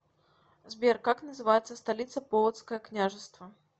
сбер как называется столица полоцкое княжество